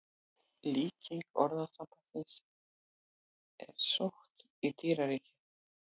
Líking orðasambandsins er sótt í dýraríkið.